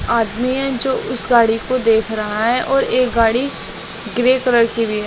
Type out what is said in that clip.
आदमी है जो उस गाड़ी को देख रहा है और एक गाड़ी ग्रे कलर की भी--